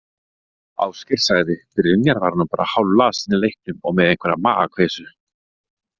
Ásgeir sagði: Brynjar var nú bara hálflasinn í leiknum og með einhverja magakveisu.